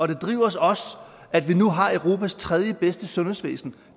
det driver os også at vi nu har europas tredjebedste sundhedsvæsen